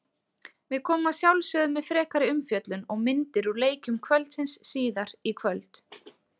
Við komum að sjálfsögðu með frekari umfjöllun og myndir úr leikjum kvöldsins síðar í kvöld.